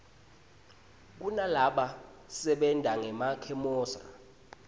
kunalaba sebentangema khemosra